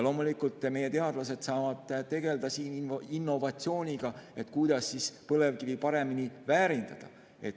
Loomulikult, meie teadlased saavad tegelda innovatsiooniga, kuidas põlevkivi paremini väärindada.